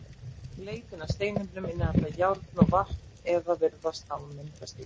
Leita að steinefnum sem innihalda járn og vatn eða virðast hafa myndast í vatni.